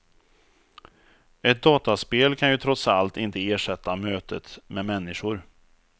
Ett dataspel kan ju trots allt inte ersätta mötet med människor.